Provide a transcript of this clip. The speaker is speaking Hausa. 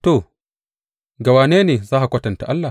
To, ga wane ne za ka kwatanta Allah?